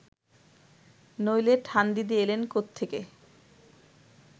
নইলে ঠানদিদি এলেন কোত্থেকে